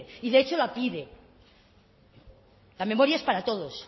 y de hecho la pide la memoria es para todos